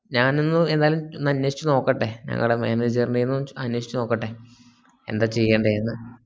ഞാനൊന്നു ഏതായാലും ഒന്നു അനേഷിച്ചു നോക്കട്ടെ ഞങ്ങളെ maneger ന്റ്റെന്നു അനേഷിചോക്കട്ടെ എന്താ ചെയ്യണ്ടെന്ന്